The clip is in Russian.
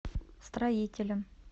строителем